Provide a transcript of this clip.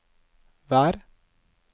vær